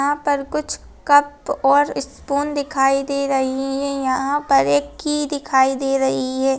यहाँ पर कुछ कप और स्पून दिखाई दे रही है ये यहाँ पर एक की दिखाई दे रही हैं।